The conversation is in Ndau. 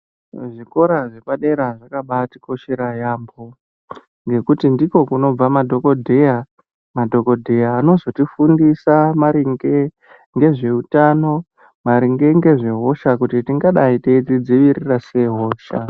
Zvikora zvepadera zvakabaatikoshera yaambo nekuti ndiko kunobva madhokodheya, madhokodheya anozotifundisa maringe ngezveutano maringe ngezvehosha kuti tingadayi teyidzidzivirira sei hosha.